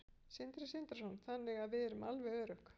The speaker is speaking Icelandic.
Sindri Sindrason: Þannig að við erum alveg örugg?